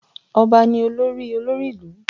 Ọba ni olórí olórí ìlú